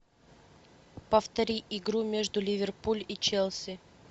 повтори игру между ливерпуль и челси